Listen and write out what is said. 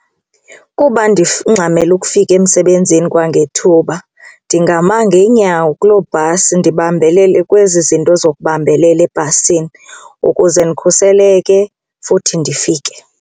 Kuba ndingxamele ukufika emsebenzini kwangethuba ndingama ngeenyawo kuloo bhasi ndibambelele kwezi zinto zokubambelela ebhasini ukuze ndikhuseleke futhi ndifike.